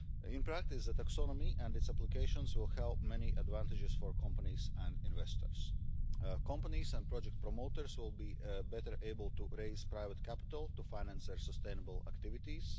In practice, the taxonomy and its applications will have many advantages for companies and investors. Companies and project promoters will be better able to raise private capital to finance their sustainable activities.